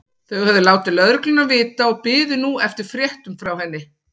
Þau höfðu látið lögregluna vita og biðu nú eftir fréttum frá henni.